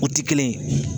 O tɛ kelen ye